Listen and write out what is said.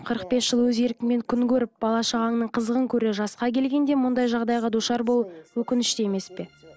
қырық бес жыл өз еркіңмен күн көріп бала шағаңның қызығын көрер жасқа келгенде мұндай жағдайға душар болу өкінішті емес пе